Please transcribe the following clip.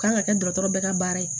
K'an ka kɛ dɔgɔtɔrɔ bɛɛ ka baara ye